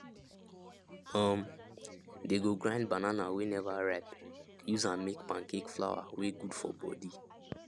um they go grind banana wey never ripe use am make pancake flour wey good for body